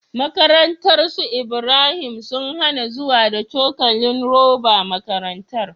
Makarantar su Ibrahim sun hAna zuwa da cokalin roba makarantar